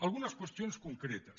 algunes qüestions concretes